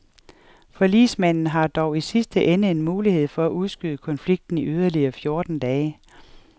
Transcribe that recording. Forligsmanden har dog i sidste ende en mulighed for at udskyde konflikten i yderligere fjorten dage.